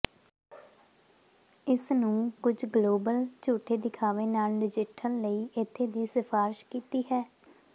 ਇਸ ਨੂੰ ਕੁਝ ਗਲੋਬਲ ਝੂਠੇ ਦਿਖਾਵੇ ਨਾਲ ਨਜਿੱਠਣ ਲਈ ਇੱਥੇ ਦੀ ਸਿਫਾਰਸ਼ ਕੀਤੀ ਹੈ